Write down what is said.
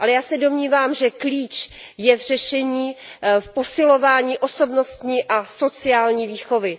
Ale já se domnívám, že klíč je v řešení, v posilování osobnostní a sociální výchovy.